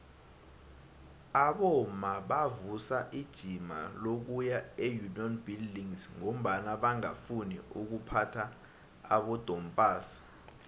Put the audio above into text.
abomma bavusa ijima lokuya eunion buildings ngombana bangafuni ukuphatha amadompass